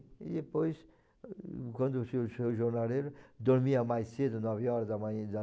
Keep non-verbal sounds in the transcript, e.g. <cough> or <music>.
E depois, quando <unintelligible> o jornalheiro dormia mais cedo, nove horas da <unintelligible>